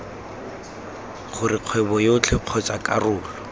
gore kgwebo yotlhe kgotsa karolo